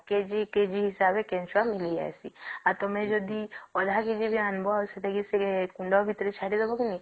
kg-kg ହିସାବରେ କେଞ୍ଚୁଆ ମିଳି ଯେଇସେ ଆଉ ତମେ ଯଦି ଅଧା kg ବି ଆଣିବା ଆଉ ସେଟା କି ସେ କୁଣ୍ଡ ଭିତରେ ଛାଡ଼ିଦେବା କି ନାଇଁ